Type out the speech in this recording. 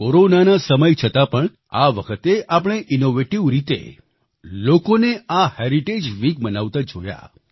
કોરોનાના સમય છતાં પણ આ વખતે આપણે ઈનોવેટિવ રીતે લોકોને આ હેરિટેજ વીક મનાવતા જોયા